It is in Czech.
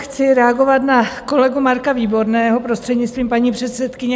Chci reagovat na kolegu Marka Výborného, prostřednictvím paní předsedkyně.